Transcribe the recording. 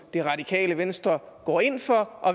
det radikale venstre går ind for